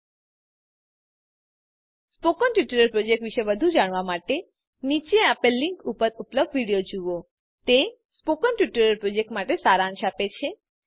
000923 000922 spoken tutorial project વિષે વધુ જાણવા માટે નીચે આપેલ લીંક ઉપર ઉપલબ્ધ વિડીઓ જુઓ 1 તે સ્પોકન ટ્યુટોરીયલ પ્રોજેક્ટ માટે સારાંશ આપે છે